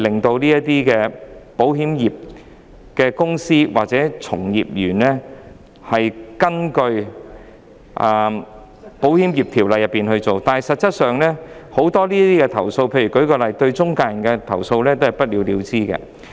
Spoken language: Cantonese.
在名義上，保險公司和保險從業員須根據《保險業條例》行事，但實際上，許多投訴個案，最後也是不了了之的。